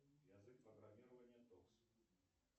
язык программирования токс